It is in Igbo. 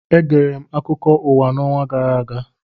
Egere m akụkọ ụwa n'ọnwa gara aga